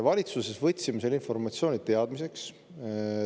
Valitsuses võtsime selle informatsiooni teadmiseks.